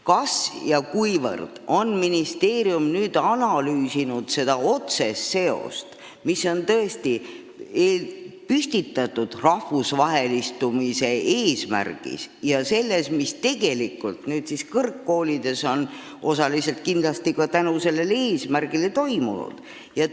Kas ja kuivõrd on ministeerium analüüsinud otsest seost püstitatud rahvusvahelistumise eesmärgi ja selle vahel, mis on osaliselt kindlasti ka tänu sellele eesmärgile kõrgkoolides tegelikult toimunud?